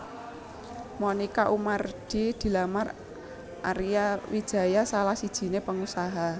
Monica Oemardi dilamar Arya Wijaya salah sijiné pengusaha